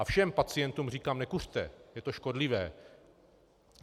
A všem pacientům říkám: Nekuřte, je to škodlivé.